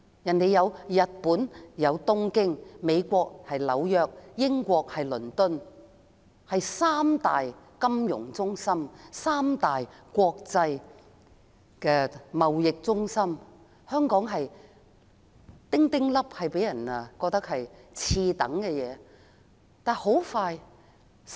當時日本東京、美國紐約、英國倫敦是三大國際金融中心、國際貿易中心，香港的地位微不足道，給人次等的感覺。